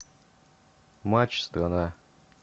матч страна